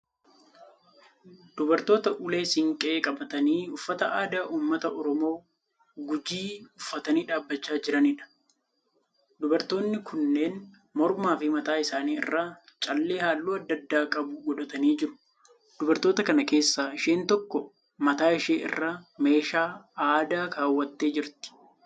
Dubartoota ulee siinqee qabatanii uffata aadaa uummata Oromoo Gujii uffatanii dhaabbachaa jiraniidha. Dubartoonni kunneen mormaa fi mataa isaanii irraa callee halluu add addaa qabu godhatanii jiru. Dubartoota kana keessaa isheen tokko mataa ishee irra meeshaa aadaa kaawwattee jirti.